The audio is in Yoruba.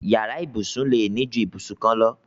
Yàrá ìbùsùn lè ní ju ìbùsùn kan lọ.